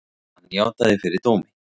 Hann játaði fyrir dómi.